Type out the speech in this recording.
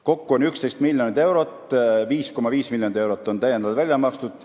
Kokku on 11 miljonit eurot ja 5,5 miljonit on täiendavalt välja makstud.